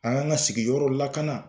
An kan ka sigiyɔrɔw lakana.